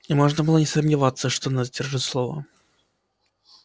и можно было не сомневаться что она сдержит слово